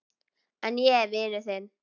En ég er vinur þinn.